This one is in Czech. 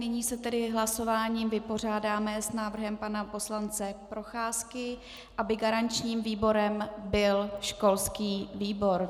Nyní se tedy hlasováním vypořádáme s návrhem pana poslance Procházky, aby garančním výborem byl školský výbor.